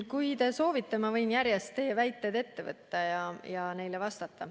Kui te soovite, ma võin teie väited järjest ette võtta ja neile vastata.